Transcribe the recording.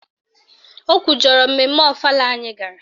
O kwujọrọ mmemme ọfala anyị gara